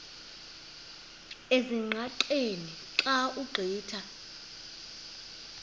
ezingqaqeni xa ugqitha